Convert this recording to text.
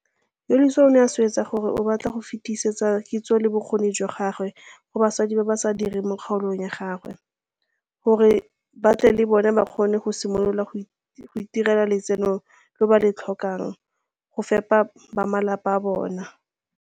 Yolisa o ne a swetsa gore o batla go fetisetsa kitso le bokgoni jwa gagwe go basadi ba ba sa direng mo kgaolong ya gagwe, gore ba tle le bone ba kgone go simolola go itirela lotseno lo ba le tlhokang go fepa bamalapa a bona.